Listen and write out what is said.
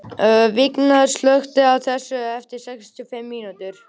Virginía, slökktu á þessu eftir sextíu og fimm mínútur.